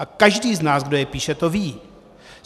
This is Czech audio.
A každý z nás, kdo je píše, to ví.